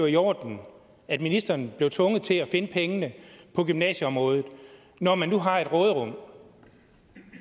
i orden at ministeren blev tvunget til at finde pengene på gymnasieområdet når man nu har et råderum